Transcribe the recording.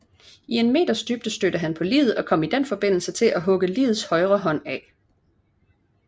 I en meters dybde stødte han på liget og kom i den forbindelse til at hugge ligets højre hånd af